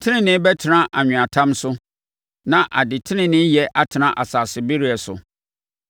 Tenenee bɛtena anweatam so na adeteneneeyɛ atena asase bereɛ so.